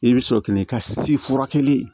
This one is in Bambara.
I bɛ sɔrɔ ka na i ka si furakɛli